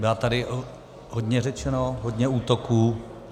Bylo tady hodně řečeno, hodně útoků.